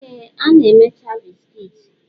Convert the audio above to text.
Ee, a na-emecha bisikiiti.